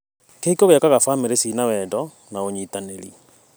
Kĩhiko gĩakaga bamĩrĩ cina wendo na ũnyitanĩri.